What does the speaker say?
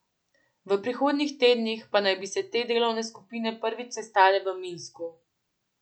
V prihodnjih tednih pa naj bi se te delovne skupine prvič sestale v Minsku.